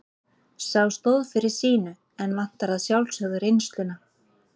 Sá stóð fyrir sínu en vantar að sjálfsögðu reynsluna.